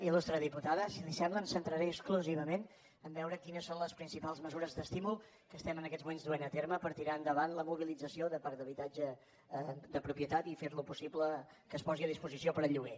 il·lustre diputada si li sembla em centraré exclusivament a veure quines són les principals mesures d’estímul que estem en aquests moments duent a terme per tirar endavant la mobilització de parc d’habitatge de propietat i fer possible que es posi a disposició per al lloguer